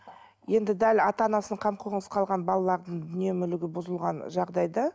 енді дәл ата анасының қамқорынсыз қалған балалардың дүние мүлігі бұзылған жағдайда